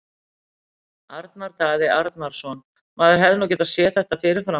Arnar Daði Arnarsson Maður hefði nú getað séð þetta fyrir fram.